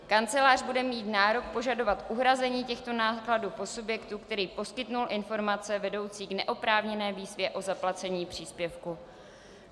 Kancelář bude mít nárok požadovat uhrazení těchto nákladů po subjektu, který poskytl informace vedoucí k neoprávněné výzvě o zaplacení příspěvku.